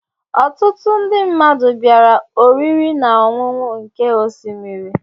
Ọtụtụ ndị mmadụ bịara oriri na ọṅụṅụ nke osimiri.